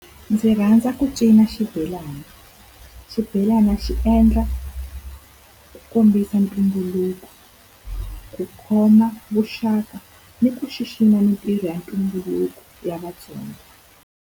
Ndzi rhandza ku cina xibelana. Xibelana xi endla ku kombisa ntumbuluko, ku khoma vuxaka ni ku xixima mintirho ya ntumbuluko ya Vatsonga.